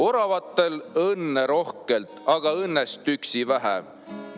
Oravatel õnne rohkelt, aga õnnest üksi vähe.